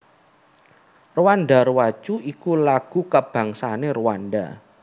Rwanda rwacu iku lagu kabangsané Rwanda